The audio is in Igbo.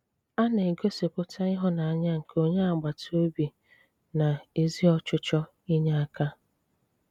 A na-egosipụta ìhụ́nanyà nke onye agbatà obi na ezi ọchịchọ̀ ínyè aka.